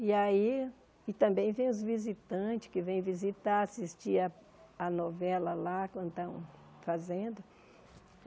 E aí... e também vêm os visitantes, que vêm visitar, assistir a a novela lá, quando estão fazendo.